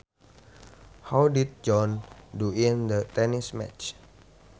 How did John do in the tennis match